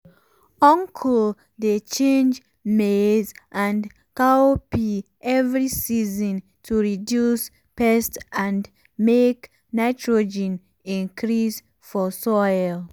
uncle dey change maize and cowpea every season to reduce pest and make nitrogen increase for soil.